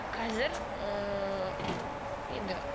қазір ыыы енді